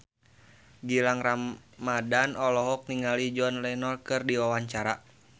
Gilang Ramadan olohok ningali John Lennon keur diwawancara